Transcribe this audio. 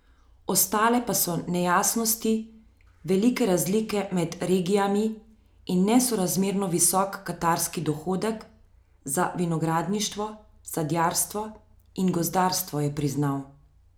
Ostale pa so nejasnosti, velike razlike med regijami in nesorazmerno visok katastrski dohodek za vinogradništvo, sadjarstvo in gozdarstvo, je priznal.